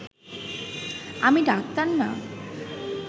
আমি ডাক্তার না